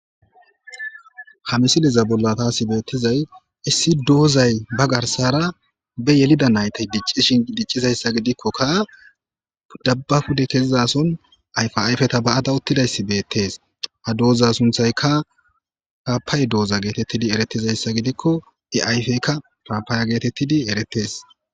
ha misiliza bolla taasi beettizay issi doozay ba garsara be yelida naytay diccishin diccizayssa gidikkokka dabbafude kezizason ayfaayfeta ba7ada uttidayssi beettees ha dooza sunthayka kapay dooza geetettidi eretizayssa gidikko iayfeykka paapaaya geetettidi eretees